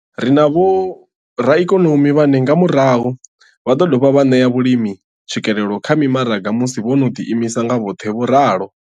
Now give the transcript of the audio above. Ri na vhoraikonomi vhane nga murahu vha ḓo dovha vha ṋea vhalimi tswikelelo kha mimaraga musi vho no ḓiimisa nga vhoṱhe. vho ralo.